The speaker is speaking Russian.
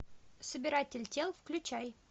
собиратель тел включай